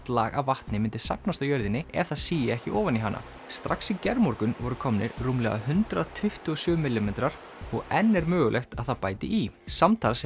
lag af vatni myndi safnast á jörðinni ef það sigi ekki ofan í hana strax í gærmorgun voru komnir rúmlega hundrað tuttugu og sjö millimetrar og enn er mögulegt að það bæti í samtals